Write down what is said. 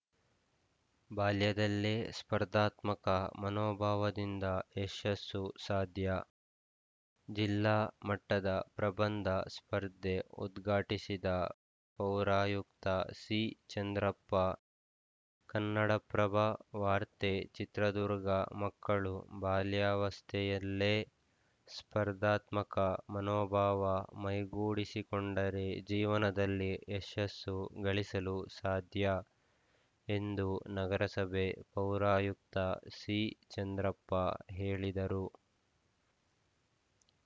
ಬಾಲ್ಯದಲ್ಲೇ ಸ್ಪರ್ಧಾತ್ಮಕ ಮನೋಭಾವದಿಂದ ಯಶಸ್ಸು ಸಾಧ್ಯ ಜಿಲ್ಲಾ ಮಟ್ಟದ ಪ್ರಬಂಧ ಸ್ಪರ್ಧೆ ಉದ್ಘಾಟಿಸಿದ ಪೌರಾಯುಕ್ತ ಸಿಚಂದ್ರಪ್ಪ ಕನ್ನಡಪ್ರಭ ವಾರ್ತೆ ಚಿತ್ರದುರ್ಗ ಮಕ್ಕಳು ಬಾಲ್ಯಾವಸ್ಥೆಯಲ್ಲೇ ಸ್ಪರ್ಧಾತ್ಮಕ ಮನೋಭಾವ ಮೈಗೂಡಿಸಿಕೊಂಡರೆ ಜೀವನದಲ್ಲಿ ಯಶಸ್ಸು ಗಳಿಸಲು ಸಾಧ್ಯ ಎಂದು ನಗರಸಭೆ ಪೌರಾಯುಕ್ತ ಸಿಚಂದ್ರಪ್ಪ ಹೇಳಿದರು